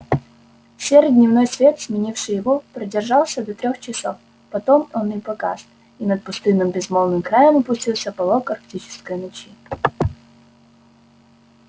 серый дневной свет сменивший его продержался до трёх часов потом и он погас и над пустынным безмолвным краем опустился полог арктической ночи